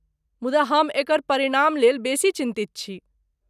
मुदा हम एकर परिणामलेल बेसी चिन्तित छी।